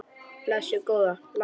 Blessuð góða, láttu ekki svona.